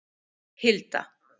Hilda